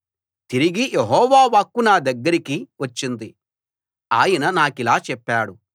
తిరిగి యెహోవా వాక్కు నా దగ్గరకి వచ్చింది ఆయన నాకిలా చెప్పాడు